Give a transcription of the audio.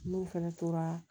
N'u fɛnɛ tora